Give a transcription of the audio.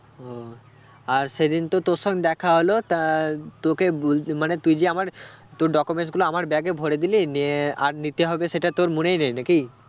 ও আর সেদিন তো তোর সঙ্গে দেখা হল তা তোকে বলতে মানে তুই যে আমার তোর documents গুলো আমার bag এ ভোরে দিলি নিয়ে আর নিতে হবে সেটা তোর মনেই নেই নাকি?